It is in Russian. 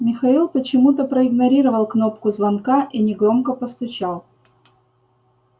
михаил почему-то проигнорировал кнопку звонка и негромко постучал